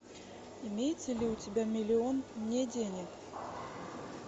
имеется ли у тебя миллион не денег